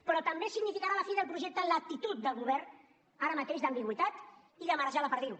però també significarà la fi del projecte l’actitud del govern ara mateix d’ambigüitat i de marejar la perdiu